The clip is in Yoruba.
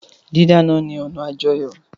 Dídáná ni ọna àjọyọ́.